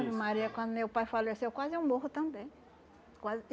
Maria, quando meu pai faleceu, quase eu morro também. Quase